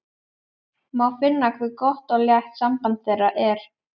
Má finna hve gott og létt samband þeirra er.